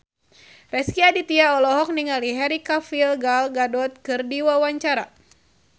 Rezky Aditya olohok ningali Henry Cavill Gal Gadot keur diwawancara